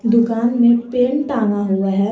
दुकान में पेन टंगा हुआ है।